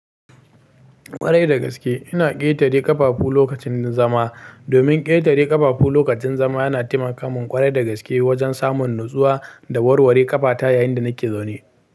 Ƙwarai da gaske ina ƙetare ƙafafu lokacin zama. Domin ƙetare ƙafafu lokacin zama yana taimakamun ƙwarai da gaske wajen samun natsuwa da warware ƙafata yayin da nake zaune.